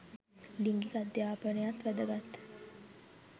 ලිංගික අධ්‍යාපනයත් වැදගත්.